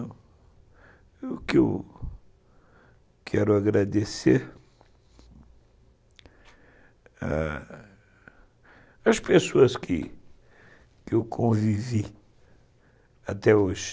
o que eu quero agradecer as pessoas que eu convivi até hoje